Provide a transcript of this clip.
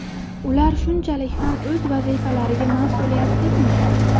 Ular shunchalik ham o‘z vazifalariga ma’suliyatsizmi?